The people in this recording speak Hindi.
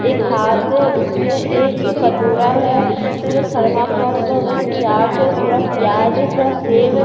एक हाथ है उसमें एक कटोरा है जो थर्माकॉल का उसमें चाट है थोड़ा प्याज है थोड़ा सेव है।